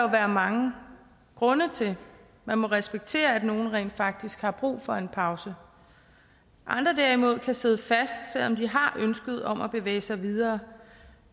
være mange grunde til man må respektere at nogle rent faktisk har brug for en pause andre derimod kan sidde fast selv om de har ønsket om at bevæge sig videre